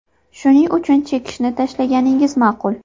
Shuning uchun chekishni tashlaganingiz ma’qul.